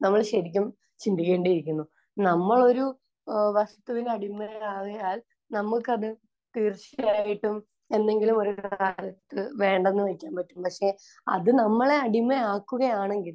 നമ്മൾ ശരിക്കും ചിന്തിക്കേണ്ടിയിരിക്കുന്നു. നമ്മളൊരു ഏഹ് വസ്തുവിന് അടിമകളായാൽ നമുക്കത് തീർച്ചയായിട്ടും എന്നെങ്കിലും ഒരു കാലത്ത് വേണ്ടെന്ന് വെക്കാൻ പറ്റും. പക്ഷെ അത് നമ്മളെ അടിമയാക്കുകയാണെങ്കിൽ